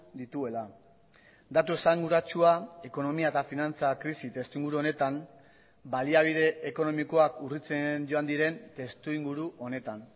dituela datu esanguratsua ekonomia eta finantza krisi testuinguru honetan baliabide ekonomikoak urritzen joan diren testuinguru honetan